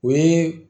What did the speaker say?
O ye